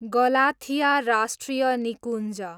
Galathea राष्ट्रिय निकुञ्ज